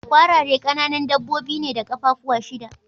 Kwarare kananan dabbobi ne da kaffafuwa shida.